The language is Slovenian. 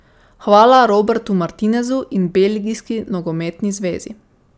Hvala Robertu Martinezu in Belgijski nogometni zvezi.